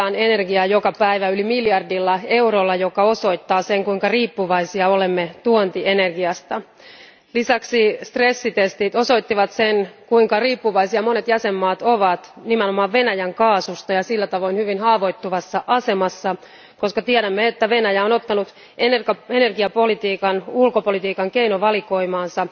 Arvoisa puhemies, Eurooppaan tuodaan energiaa joka päivä yli miljardilla eurolla, mikä osoittaa, kuinka riippuvaisia olemme tuontienergiasta. Lisäksi stressitestit osoittivat, kuinka riippuvaisia monet jäsenvaltiot ovat nimenomaan Venäjän kaasusta ja että ne ovat sillä tavoin hyvin haavoittuvassa asemassa, koska tiedämme, että Venäjä on ottanut energiapolitiikan ulkopolitiikan keinovalikoimaansa.